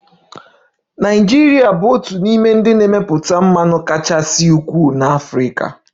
Nigeria bụ otu n'ime ndị na-emepụta mmanụ kachasị ukwuu n'Africa